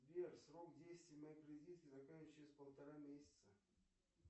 сбер срок действия моей кредитки заканчивается через полтора месяца